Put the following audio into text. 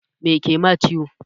Me kema ciwo?